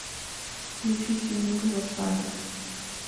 включи тимур лосанов